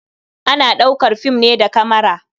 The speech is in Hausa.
Ana ɗaukar fim ne da kamara.